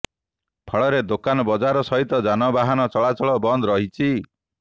ଫଳରେ ଦୋକାନ ବଜାର ସହିତ ଯାନବାହନ ଚଳାଚଳ ବନ୍ଦ ରହିଛି